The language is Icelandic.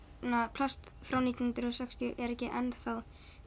plast frá nítján hundruð og sextíu er ekki enn